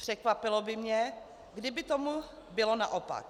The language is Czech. Překvapilo by mě, kdyby tomu bylo naopak.